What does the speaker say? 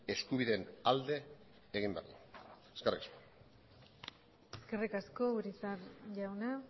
eskubideen alde egin behar dugu eskerrik asko eskerrik asko urizar jauna